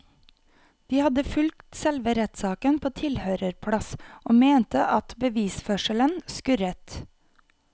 De hadde fulgt selve rettssaken på tilhørerplass og mente at bevisførselen skurret.